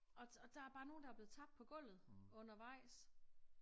Og der er bare nogle der er blevet tabt på gulvet undervejs